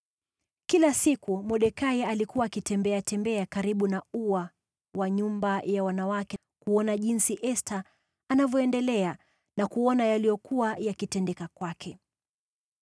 Kila siku Mordekai alikuwa akitembeatembea karibu na ua wa nyumba ya wanawake kujua Esta alivyoendelea na kuona yaliyokuwa yakitendeka kwake.